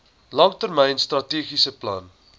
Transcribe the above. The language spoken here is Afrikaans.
langtermyn strategiese plan